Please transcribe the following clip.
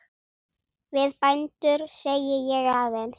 Við bændur segi ég aðeins.